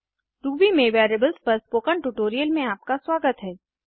Ruby में variables पर spoken tutorial में आपका स्वागत है